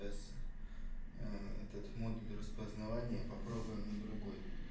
эс этот модуль распознавания попробуем на другой